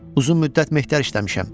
Uzun müddət mehtər işləmişəm.